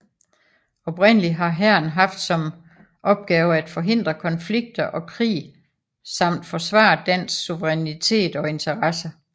Oprindeligt har Hæren haft som opgave at forhindre konflikter og krig samt forsvare dansk suverænitet og interesser